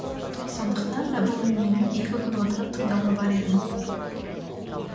сондықтан да бұл әңгімені екі күн отырып тыңдауға бар едім